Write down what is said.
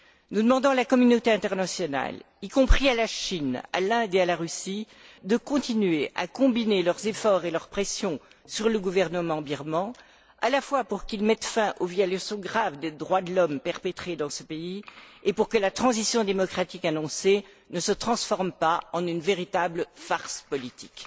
Nous demandons à la communauté internationale, y compris à la Chine, à l'Inde et à la Russie, de continuer à combiner leurs efforts et leurs pressions sur le gouvernement birman, à la fois pour qu'il mette fin aux violations graves des droits de l'homme perpétrées dans ce pays et pour que la transition démocratique annoncée ne se transforme pas en une véritable farce politique.